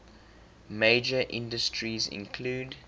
major industries include